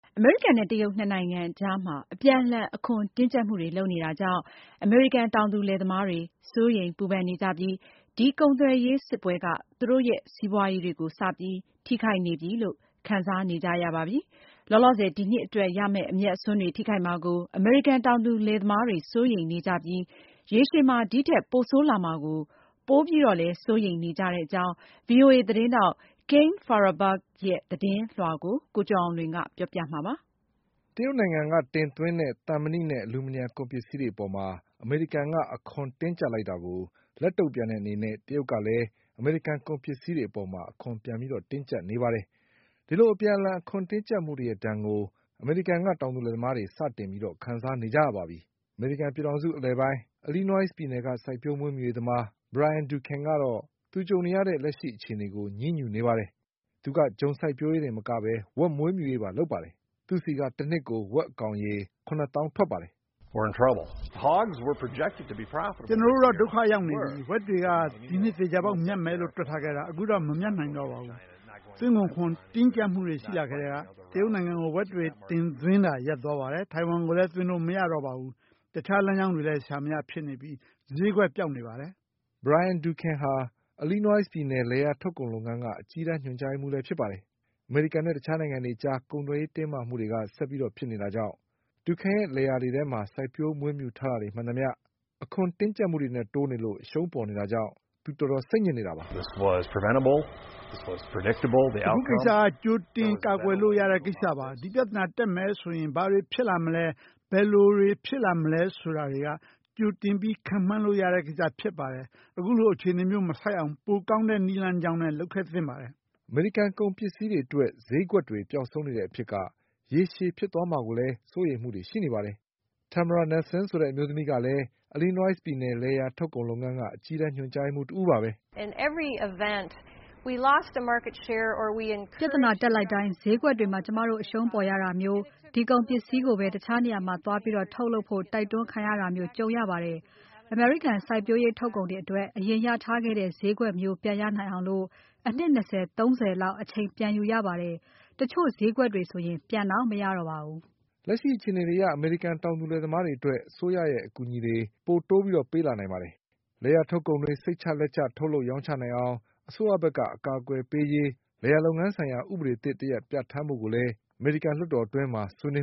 အမေရိကန်နဲ့တရုတ်၂ နိုင်ငံအကြား အပြန်အလှန်အခွန်တင်းကြပ်နေကြတာကြောင့် အမေရိကန် တောင်သူလယ်သမားတွေ စိုးရိမ်ပူပန်နေကြပြီး ဒီကုန်သွယ်ရေး စစ်ပွဲက သူတို့ရဲ့စီးပွါးရေးတွေကို စပြီး ထိခိုက်နေပြီလို့ခံစားနေကြရပါပြီ။ လောလောဆယ် ဒီနှစ် အတွက်ရမယ့် အမြတ်အစွန်းတွေ ထိခိုက်မှာကို အမေရိကန်တောင်သူလယ်သမားတွေ စိုးရိမ်နေကြ ပြီး ရေရှည်မှာဒီထက်ပိုဆိုးလာမှာကို ပိုပြီး စိုးရိမ်နေကြ ကြောင်း VOA သတင်းထောက် Kane Farabaugh ရဲ့သတင်း ပေးပို့ချက်ကို ကိုကျော်အောင်လွင်က တင်ပြပေးထားပါတယ်။ တရုတ်နိုင်ငံကတင်သွင်းတဲ့ သံမဏိနဲ့အလူမီနီယံကုန်ပစ္စည်းတွေအပေါ် အမေရိကန်က အခွန်တင်းကြပ်လိုက်တာကို လက်တုံ့ပြန်တဲ့အနေနဲ့ တရုတ်ကလည်း အမေရိကန် ကုန် ပစ္စည်းတွေကို အခွန်ပြန်တင်းကြပ်နေပါတယ်။ ဒီလိုအပြန် အလှန်အခွန်တင်းကြပ်မှုတွေရဲ့ ဒဏ်ကို အမေရိကန်တောင်သူလယ်သမားတွေ စတင်ခံစားနေကြရပါပြီ။ အမေရိကန် ပြည်ထောင်စုအလယ်ပိုင်း အီလီနွိုင်းစ်ပြည်နယ်က စိုက်ပျိုးမွေးမြူရေးသမား Brian Duncan ကတော့ သူကြုံနေရတဲ့ လက်ရှိအခြေအနေကို ညည်းညူနေပါတယ်။ သူက ဂျုံစိုက်ပျိုးရေးတင်မက ဝက်မွေးမြူ ရေးပါ လုပ်ပါတယ်။ သူ့ဆီက တနှစ်ကို ဝက်ကောင်ရေ ၇ သောင်းထွက်ပါတယ်။ “ကျနော်တို့တော့ ဒုက္ခရောက်နေပြီ။ ဝက်တွေက ဒီနှစ် သေချာပေါက်မြတ်မယ်လို့ တွက် ထားခဲ့တာ။ အခုတော့ မဟုတ်နိုင်တော့ပါဘူး။ သွင်းကုန်ခွန်တင်းကြပ်မှုတွေ ရှိလာ ကတည်းက တရုတ်နိုင်ငံကို ဝက်တွေသွင်းတာ ရပ်သွားပါတယ်။ ထိုင်ဝမ်ကိုလည်း သွင်းလို့မရတော့ပါဘူး။ တခြားလမ်းကြောင်းတွေလည်း ရှာမရဖြစ်နေပြီး ဈေးကွက် ပျောက်နေပါတယ်။” Brian Duncanu အီလီနွိုင်းစ်ပြည်နယ် လယ်ယာထုတ်ကုန်လုပ်ငန်းက အကြီးတန်း ညွှန်ကြားရေးမှူးလည်း ဖြစ်ပါ တယ်။ အမေရိကန်နဲ့တခြားနိုင်ငံတွေ အကြား ကုန်သွယ်ရေး တင်းမာမှုတွေက ဆက်ပြီးဖြစ်နေတာကြောင့် Brian Duncanရဲ့ လယ်တွေ ယာတွေထဲမှာ စိုက်ထားမွေးထားတာတွေမှန်သမျှက အခွန်တင်းကြပ်မှုတွေနဲ့တိုးနေလို့ အရှုံးပေါ်နေ တာကြောင့် တော်တော်စိတ်ညစ်နေပါတယ်။ “အခုကိစ္စက ကြိုတင်ကာကွယ်လို့ရတဲ့ ကိစ္စပါ။ ဒီပြဿနာတက်ပြီဆိုရင် ဘာတွေဖြစ် လာ မလဲ ဘယ်လိုတွေ ဖြစ်လာမလဲ ဆိုတာတွေက ကြိုပြီးခန့်မှန်းလို့ရတဲ့ကိစ္စလည်း ဖြစ်ပါ တယ်။ အခုလိုအခြေနေမျိုးမဆိုက်ရအောင် ပိုကောင်းတဲ့လမ်းကြောင်းနဲ့ လုပ်သင့်ပါတယ်။” အမေရိကန်ကုန်ပစ္စည်းတွေအတွက် ဈေးကွက်တွေပျောက်ဆုံးနေတဲ့အဖြစ်က ရေရှည်ဖြစ် သွားမှာကိုလည်း စိုးရိမ်မှုတွေ ရှိနေပါတယ်။ Tamara Nelsen ဆိုတဲ့အမျိုးသမီးကလည်း အီလီနွိုင်းစ်ပြည်နယ် လယ်ယာ ထုတ်ကုန်လုပ်ငန်းက အကြီးတန်း ညွှန်ကြားရေးမှူး တဦးပါပဲ။ “ပြဿနာတက်လိုက်တိုင်း ဈေးကွက်တွေမှာ ကျမတို့အရှုံးပေါ်ရတာမျိုး၊ ဒီကုန်ပစ္စည်းကိုပဲ တခြားနေရာမှာ သွားပြီး ထုတ်လုပ်ဖို့ တိုက်တွန်းခံရတာမျိုးကြုံရပါတယ်။ အမေရိကန် စိုက်ပျိုးရေးထုတ်ကုန်တွေအတွက် အရင် ရထားခဲ့တဲ့ဈေးကွက်မျိုး ပြန်ရနိုင်အောင် အနှစ် ၂၀ ၊ ၃၀ လောက်အချိန်ပြန်ယူရပါတယ်။ တချို့ဈေးကွက်တွေဆို ပြန်တောင် မရတော့ ပါဘူး။” လက်ရှိအခြေအနေတွေအရ အမေရိကန်တောင်သူလယ်သမားတွေအတွက် အစိုးရရဲ့ အကူအညီတွေ ပိုပြီး ပေးလာနိုင်ပါတယ်။ လယ်ယာထုတ်ကုန်တွေ စိတ်ချလက်ချ ထုတ် လုပ်ရောင်းချနိုင်အောင် အစိုးရဘက်က အကာအကွယ်တွေပေးရေး လယ်ယာ လုပ်ငန်း ဆိုင်ရာ ဥပဒေသစ်တရပ်ပြဌာန်းဖို့ကိုလည်း အမေရိကန် လွှတ်တော်အတွင်း ဆွေးနွေ